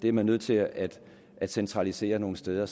er nødt til at centralisere nogle steder